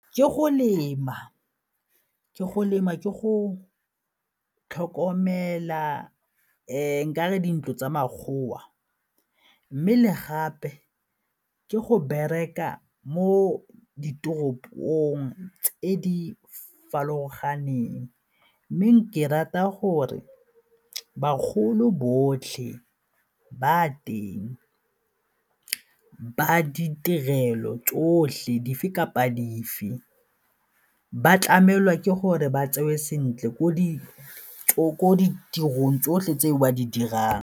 Ke go lema, ke go lema, ke go tlhokomela nka re dintlo tsa makgowa mme le gape ke go bereka mo ditoropong tse di farologaneng mme nka rata gore bagolo botlhe ba teng ba ditirelo tsotlhe dife kapa dife ba tlamehelwa ke gore ba tseiwe sentle ko ditirong tsotlhe tse ba di dirang.